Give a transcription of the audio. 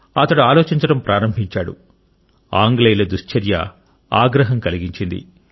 అతను ఆలోచించడం ప్రారంభించాడు ఆంగ్లేయుల దుశ్చర్య ఆగ్రహం కలిగించింది